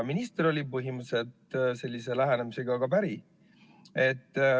Minister oli põhimõtteliselt sellise lähenemisega päri.